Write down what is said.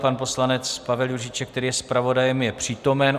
Pan poslanec Pavel Juříček, který je zpravodajem, je přítomen.